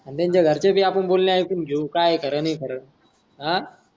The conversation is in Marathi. त्यांच्या घरच्यांचे बोलणें एकून घेऊन काय खर नि खर आ.